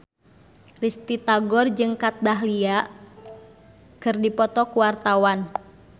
Risty Tagor jeung Kat Dahlia keur dipoto ku wartawan